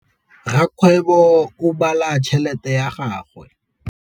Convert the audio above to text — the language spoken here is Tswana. Rakgwêbô o bala tšheletê ya gagwe.